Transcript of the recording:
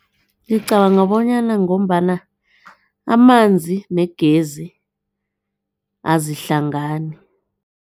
Ngicabanga bonyana ngombana amanzi negezi azihlangani.